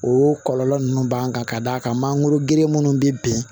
O kɔlɔlɔ ninnu b'an kan ka d'a kan mangoro gere minnu bɛ bin